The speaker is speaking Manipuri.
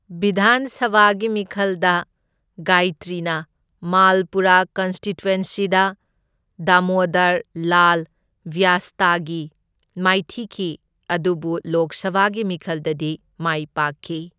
ꯕꯤꯙꯥꯟ ꯁꯚꯥꯒꯤ ꯃꯤꯈꯜꯗ ꯒꯥꯢꯇ꯭ꯔꯤꯅ ꯃꯥꯜꯄꯨꯔꯥ ꯀꯟꯁꯇꯤꯇ꯭ꯋꯦꯟꯁꯤꯗ, ꯗꯥꯃꯣꯗꯔ ꯂꯥꯜ ꯕ꯭ꯌꯥꯁꯇꯒꯤ ꯃꯥꯏꯊꯤꯈꯤ, ꯑꯗꯨꯕꯨ ꯂꯣꯛ ꯁꯚꯥꯒꯤ ꯃꯤꯈꯜꯗꯗꯤ ꯃꯥꯏ ꯄꯥꯛꯈꯤ꯫